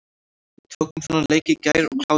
Við tókum þennan leik í gær og kláruðum hann.